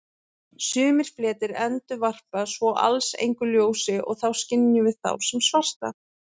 Sumir fletir endurvarpa svo alls engu ljósi og þá skynjum við sem svarta.